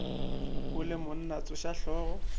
o le monna tsoša hlogo